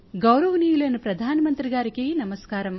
గౌరవనీయులైన ప్రధానమంత్రిగారికి నమస్కారం